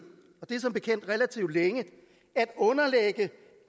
og det er som bekendt relativt længe